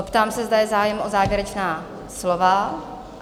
Zeptám se, zda je zájem o závěrečná slova?